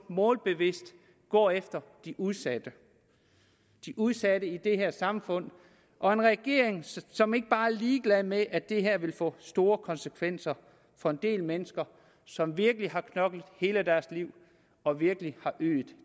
målbevidst går efter de udsatte i udsatte i det her samfund og en regering som ikke bare er ligeglad med at det her vil få store konsekvenser for en del mennesker som virkelig har knoklet hele deres liv og virkelig har ydet